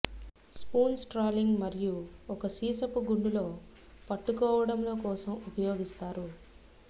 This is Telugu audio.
స్పూన్స్ ట్రాలింగ్ మరియు ఒక సీసపు గుండు లో పట్టుకోవడంలో కోసం ఉపయోగిస్తారు